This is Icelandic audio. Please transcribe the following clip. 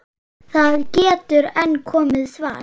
Það getur enn komið svar!